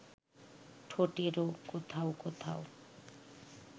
ঠোঁটেরও কোথাও কোথাও